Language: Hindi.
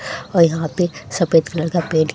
और यहाँ पे सफेद कलर का बेड --